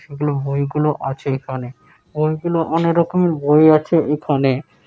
সেগুলো বই গুলো আছে এখানে । ওই গুলো গুলো অনেক রকমের বই আছে এখানে --